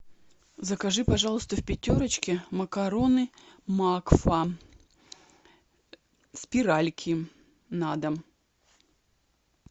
закажи пожалуйста в пятерочке макароны макфа спиральки на дом